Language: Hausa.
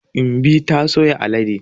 Imbi ta soya alade.